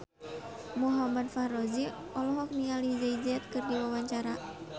Muhammad Fachroni olohok ningali Jay Z keur diwawancara